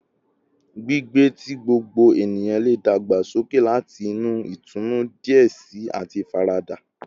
Gbigbe ti gbogbo eniyan le dagbasoke lati ni itunu diẹ sii ati ifarada